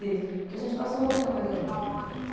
Porque a gente passou muita coisa junto.